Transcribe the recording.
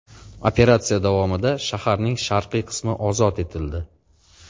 Operatsiya davomida shaharning sharqiy qismi ozod etildi.